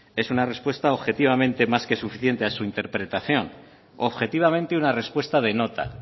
es una respuesta objetivamente más que suficiente a su interpretación objetivamente una respuesta de nota